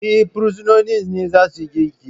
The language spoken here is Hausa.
Eh, bursinoni ne za suyi girki